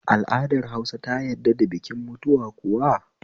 Al'adar Hausa ta yadd da bikin mutuwa kuwa?